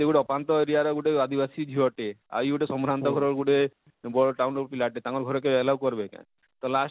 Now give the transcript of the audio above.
ସେ ଗୁଟେ ଅପାନ୍ତ area ର ଗୋଟେ ଆଦିବାସୀ ଝିଅ ଟେ, ଆଉ ଇଗୁଟେ ସମ୍ଭ୍ରାନ୍ତ ଘରର ଗୁଟେ ବଡ଼ town ର ପିଲାଟେ ତାଙ୍କର ଘରେ କେହି allwoed କର ବେ କାଏଁ ତ last କେ?